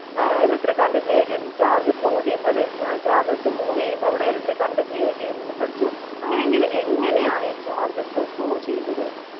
ആഹ് electric current create ചെയ്യുന്നു. charge flow ചെയ്യുമ്പം അല്ലെങ്കിൽ ആഹ് charges move ചെയ്യുമ്പം അവിടെ electric current create ചെയ്യുന്നു എന്ന് പഠിച്ചു. അങ്ങനെയെങ്കിൽ എങ്ങനെ ആണ് ഈ charges flow ചെയ്യുന്നത്?